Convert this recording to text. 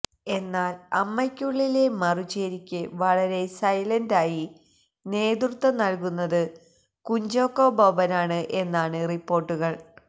എന്നാല് അമ്മയ്ക്കുളളിലെ മറുചേരിക്ക് വളരെ സൈലന്റായി നേതൃത്വം നല്കുന്നത് കുഞ്ചാക്കോ ബോബനാണ് എന്നാണ് റിപ്പോര്ട്ടുകള്